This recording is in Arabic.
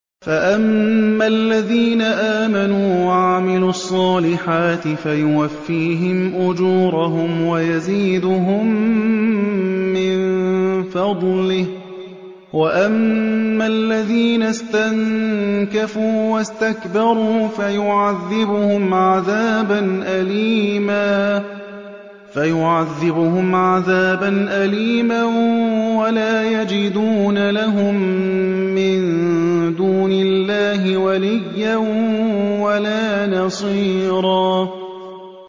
فَأَمَّا الَّذِينَ آمَنُوا وَعَمِلُوا الصَّالِحَاتِ فَيُوَفِّيهِمْ أُجُورَهُمْ وَيَزِيدُهُم مِّن فَضْلِهِ ۖ وَأَمَّا الَّذِينَ اسْتَنكَفُوا وَاسْتَكْبَرُوا فَيُعَذِّبُهُمْ عَذَابًا أَلِيمًا وَلَا يَجِدُونَ لَهُم مِّن دُونِ اللَّهِ وَلِيًّا وَلَا نَصِيرًا